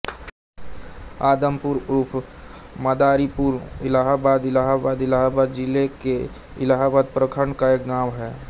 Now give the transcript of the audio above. आदमपुर उर्फ मदारीपुर इलाहाबाद इलाहाबाद इलाहाबाद जिले के इलाहाबाद प्रखंड का एक गाँव है